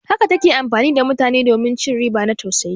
Haka ta ke amfani da mutane domin ci riba na tausayi.